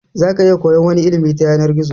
Zaka iya koyan wani ilimi ta yanar gizo